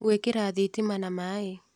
Gũĩkĩra thitima na maaĩ.